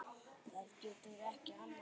Það getur ekki annað verið.